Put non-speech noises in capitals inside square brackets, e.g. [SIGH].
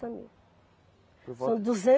[UNINTELLIGIBLE] São